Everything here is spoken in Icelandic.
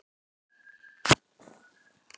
Þær bestu gengu manna á meðal.